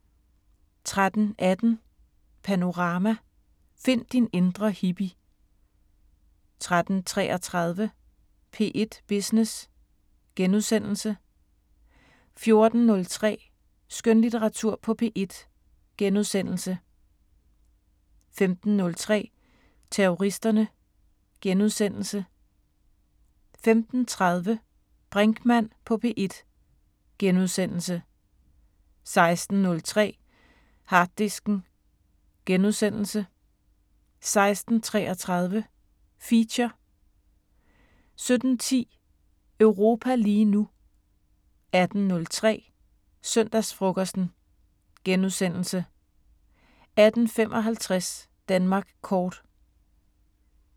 13:18: Panorama: Find din indre hippie 13:33: P1 Business * 14:03: Skønlitteratur på P1 * 15:03: Terroristerne * 15:30: Brinkmann på P1 * 16:03: Harddisken * 16:33: Feature 17:10: Europa lige nu 18:03: Søndagsfrokosten * 18:55: Danmark kort